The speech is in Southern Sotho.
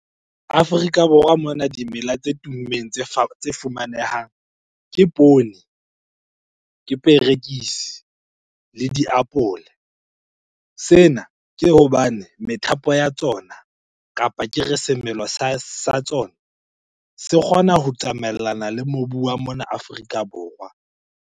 Afrika Borwa mona dimela tse tummeng, tse tse fumanehang ke poone, ke perekisi le diapole. Sena, ke hobane methapo ya tsona kapa ke re semelo sa tsona se kgona ho tsamaellana le mobu wa mona Afrika Borwa.